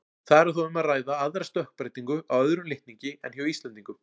Þar er þó um að ræða aðra stökkbreytingu á öðrum litningi en hjá Íslendingum.